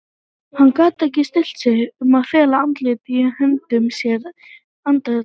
Hann gat ekki stillt sig um að fela andlitið í höndum sér andartak.